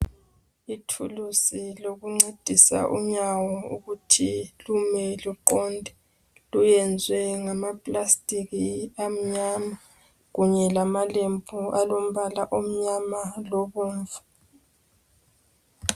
Ithulisi lokuncedisa unyawo, ukuthi lume luqonde. Luyenziwe ngamaplastic amnyama. Kanye lamalembu amnyama, labomvu.